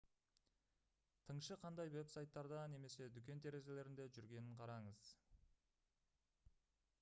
тыңшы қандай веб-сайттарда немесе дүкен терезелерінде жүргенін қараңыз